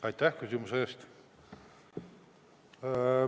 Aitäh küsimuse eest!